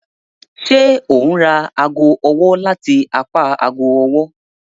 Ṣe o n ra aago ọwọ lati apá aago ọwọ?